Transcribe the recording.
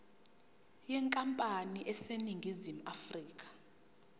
yenkampani eseningizimu afrika